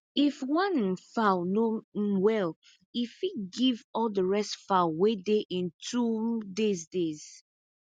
if one um fowl no um well e fit give all the rest fowl wey dey in two um days days